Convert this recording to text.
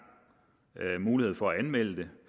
mulighed for at anmelde det